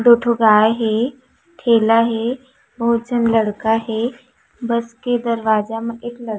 दो ठो गाय हे ठेला हे बहुत झन लड़का हे बस के दरवाजा म एक लड़का--